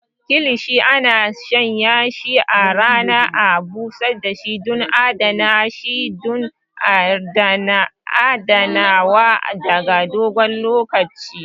Kilishi ana shanyashi a rana ya bushe don adana shi don adanawa ta dogon lokaci.